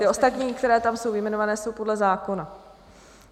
Ty ostatní, které tam jsou vyjmenovány, jsou podle zákona.